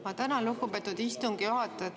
Ma tänan, lugupeetud istungi juhataja!